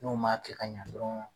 N'u m'a kɛ ka ɲa dɔrɔn